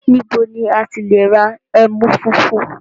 Níbo ni à ti le ra ẹmú fúnfún?